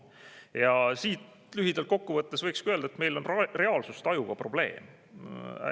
Ja siit lühidalt kokku võttes võikski öelda, et meil on reaalsustajuga probleem.